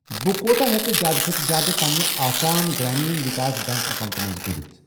بہٕ کوٗتاہ ہٮ۪کہٕ زِیٛادٕ کھۄتہٕ زِیٛادٕ پنِنہِ آسام گرٛامیٖن وِکاس بیٚنٛک اکاونٹہٕ منٛز کٔڑِتھ۔